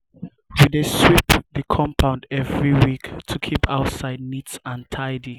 we dey sweep the compound every week to keep outside neat and tidy.